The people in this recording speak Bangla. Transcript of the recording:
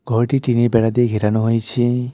ঘরটি টিনের বেড়া দিয়ে ঘেরানো হয়েছে।